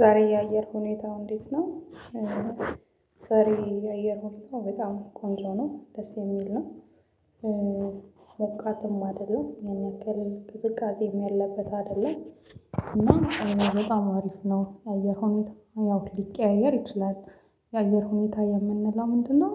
ዛሬ የአየር ሁኔታው እንዴት ነው? ዛሬ የአየር ሁኔታው በጣም ቆንጆ ነው ደስ የሚል ነው። ሞቃትም አይደለም ያን ያክል ቅዝቃዜም ያለበት አይደለም። እና በጣም አሪፍ ነው የአየር ሁኔታ ያው ሊቀያየር ይችላል። የአየር ሁኔታ የምንለው ምንድነው?